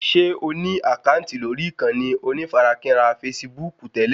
Ṣé o ní àkáǹtì lórí ìkànnì onífarakínra fasibúùkù tẹ́lẹ̀?